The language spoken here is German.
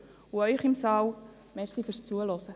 Ihnen im Saal danke ich fürs Zuhören.